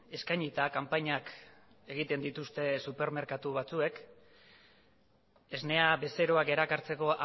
eskainita kanpainak egiten dituzte supermerkatu batzuek esnea bezeroak erakartzeko